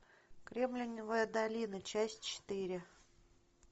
кремниевая долина часть четыре